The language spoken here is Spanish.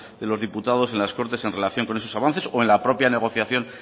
de los diputados en las cortes en relación con esos avances o en la propia negociación